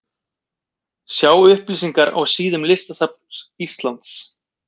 Sjá upplýsingar á síðum listasafns Íslands.